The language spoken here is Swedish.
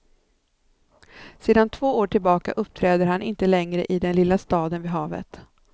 Sedan två år tillbaka uppträder han inte längre i den lilla staden vid havet.